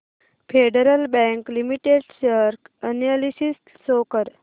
federal Bank limited share analysis show कर